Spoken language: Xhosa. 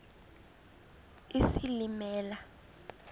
isilimela